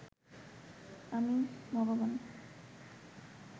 আমি ভগবান